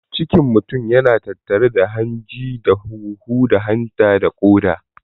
Cikin mutun yana tattare da hanji da huhu da hanta da ƙoda.